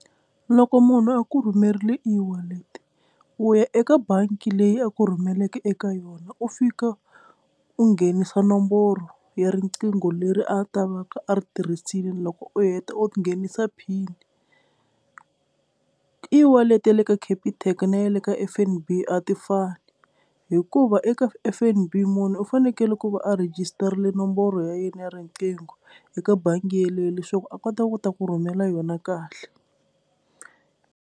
Loko munhu a ku rhumerile eWallet u ya eka bangi leyi a ku rhumeleke eka yona u fika u nghenisa nomboro ya riqingho leri a ta va ka a ri tirhisile, loko u heta u nghenisa pin eWallet ya le ka Capitec na ya le ka F_N_B a ti fani hikuva eka F_N_B munhu u fanekele ku va a rhejisitarile nomboro ya yena ya riqingho eka bangi yeleyo leswaku a kota ku ta ku rhumela yona kahle.